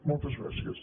moltes gràcies